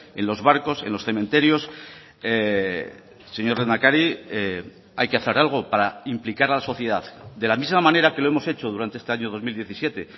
en los barcos en los cementerios señor lehendakari hay que hacer algo para implicar a la sociedad de la misma manera que lo hemos hecho durante este año dos mil diecisiete